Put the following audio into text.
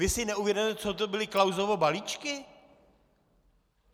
Vy si neuvědomujete, co to byly Klausovy balíčky?